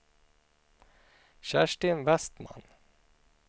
Kerstin Westman